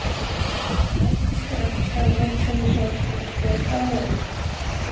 Viðtalið við Ásmund er hægt að sjá í heild sinni í sjónvarpinu hér að ofan.